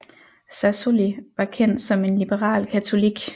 Sassoli var kendt som en liberal katolik